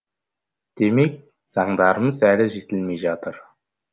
демек заңдарымыз әлі жетілмей жатыр